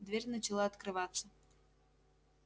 дверь начала открываться